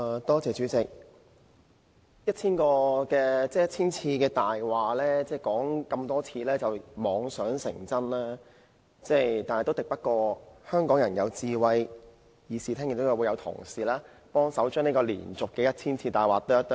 代理主席，有人把謊言說了千遍，然後妄想謊言便會成真，但很可惜，這做法敵不過香港人的智慧，議事堂內亦有同事幫忙將這連續說了千遍的謊言剖開。